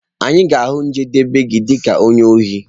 Anyị ga-ahụ njedebe gi dị ka onye ohi.